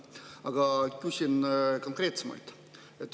Aga küsin konkreetsemalt.